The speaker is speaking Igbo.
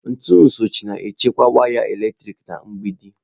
Ntu sochie na-echekwa waya eletrik na mgbidi.